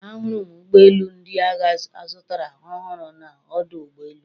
Ahụrụ m ụgbọ elu ndị agha azụtara ọhụrụ na ọdụ ụgbọ elu